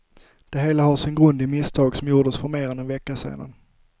Det hela har sin grund i misstag som gjordes för mer än en vecka sedan.